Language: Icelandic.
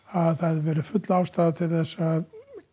að það væri full ástæða til að